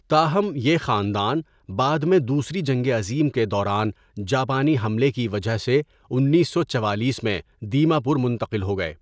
تاہم، یہ خاندان بعد میں دوسری جنگ عظیم کے دوران جاپانی حملے کی وجہ سے انیس سو چوالیس میں دیما پور منتقل ہو گئے۔